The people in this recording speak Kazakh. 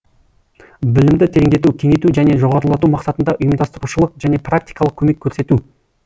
білімді тереңдету кеңейту және жоғарылату мақсатында ұйымдастырушылық және практикалық көмек көрсету